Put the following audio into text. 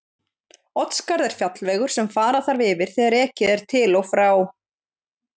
Oddskarð er fjallvegur sem fara þarf yfir þegar ekið er til og frá